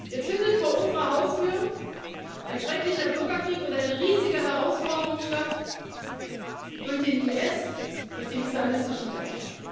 Jetzt findet vor unserer Haustür ein schrecklicher Bürgerkrieg und eine riesige Herausforderung statt durch den IS, durch den islamistischen Terror.